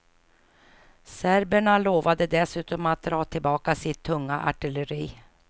Serberna lovade dessutom att dra tillbaka sitt tunga artilleri.